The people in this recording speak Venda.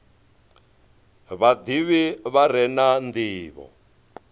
vhadivhi vha re na ndivho